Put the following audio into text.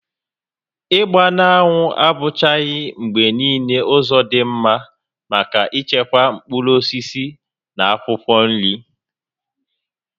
Ịgba n'anwụ abụchaghị mgbe niile ụzọ dị mma maka ichekwa mkpụrụ osisi na akwụkwọ nri